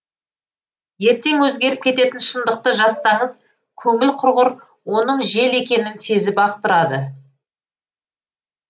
ертең өзгеріп кететін шындықты жазсаңыз көңіл құрғыр оның жел екенін сезіп ақ тұрады